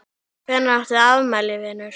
Hvenær áttu afmæli vinur?